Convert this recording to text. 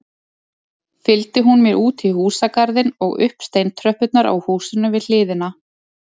Fylgdi hún mér útí húsagarðinn og upp steintröppurnar á húsinu við hliðina.